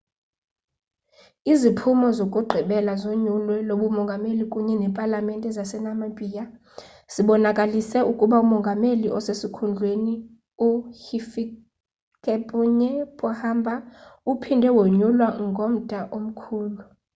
iziphumo zokugqibela zonyulo lobumongameli kunye nepalamente zasenamibia zibonakalise ukuba umongameli osesikhundleni uhifikepunye pohamba uphinde wonyulwa ngomda omkhulu